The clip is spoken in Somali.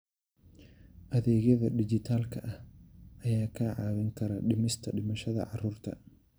Adeegyada dijitaalka ah ayaa kaa caawin kara dhimista dhimashada carruurta.